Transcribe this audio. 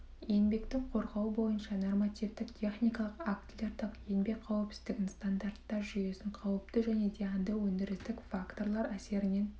еңбекті қорғау бойынша нормативтік техникалық актілерді еңбек қауіпсіздігінің стандарттар жүйесін қауіпті және зиянды өндірістік факторлар әсерінен